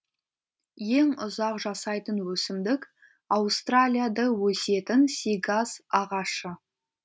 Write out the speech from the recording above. ең ұзақ жасайтын өсімдік аустралияда өсетін сигас ағашы